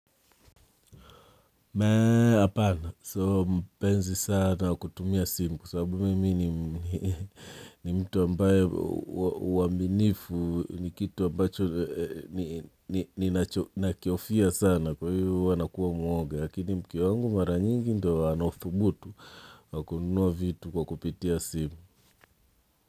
Mee, apana. Sio mpenzi sana wa kutumia simu kwa sababu mimi ni mtu ambaye uaminifu ni kitu ambacho ni nakihofia sana kwa hivyo huwa nakuwa mwoga. Lakini mke wangu mara nyingi ndio anaothubutu wa kununua vitu kwa kupitia simu.